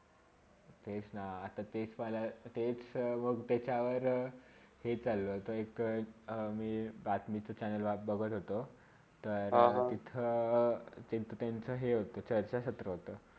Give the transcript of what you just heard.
तेच ना तेच पहला तेच मंग त्याच्यावर हे चालू होतो, एका - एक बातमी चैनल बघत होतो तर तिथे त्यांचा हा त्याचा क्षेत्र होता